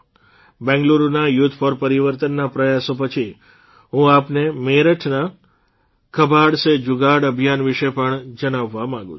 બેંગલુરૂના youth for પરિવર્તનના પ્રયાસો પછી હું આપને મેરઠના કબાડ સે જુગાડ અભિયાન વિશે પણ જણાવવા માંગું છું